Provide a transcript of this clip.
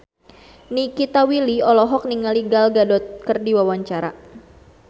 Nikita Willy olohok ningali Gal Gadot keur diwawancara